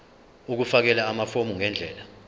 ukufakela amafomu ngendlela